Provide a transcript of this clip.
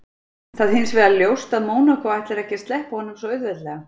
Það hinsvegar ljóst að Mónakó ætlar ekki að sleppa honum svo auðveldlega.